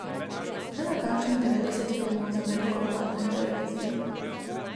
Posnel je kakšnih devetdeset filmov za veliko platno in televizijo.